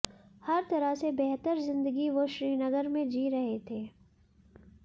हर तरह से बेहतर जिंदगी वो श्रीनगर में जी रहे थे